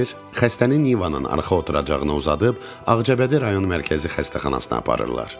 Xəstəni Nivanın arxa oturacağına uzadıb, Ağcabədi rayon Mərkəzi Xəstəxanasına aparırlar.